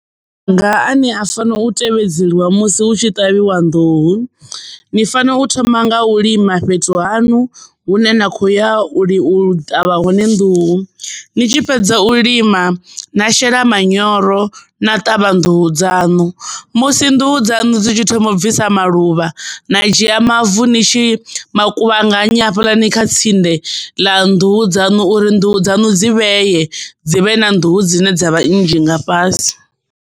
Maga a ne a fanela u tevhedzelwa musi hu tshi ṱavhiwa nḓuhu, ni fanela u thoma nga u lima fhethu hanu hune na khoya u ṱavha hone nḓuhu. Ni tshi fhedza u lima na shela manyoro na ṱavha nḓuhu dzanu musi nḓuhu dzanu, musi nḓuhu dzanu dzi tshi thoma u bvisa maluvha na dzhia mavu ni tshi makuvhanganya hafhaḽani kha tsinde ḽa nḓuhu dzanu uri nḓuhu dzanu dzi vheye dzi vhe na nḓuhu dzine dza vhanzhi nga fhasi.